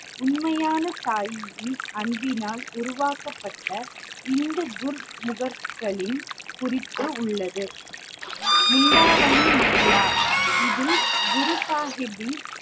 உண்மையான தாயின் அன்பினால் உருவாக்கப்பட்ட இந்து குர்கர்களின் குறிப்பு உள்ளது இது குரு சாஹிப்பின்